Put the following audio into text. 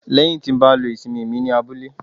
lẹyìn ti ba lo ìsimi mí ní abúlé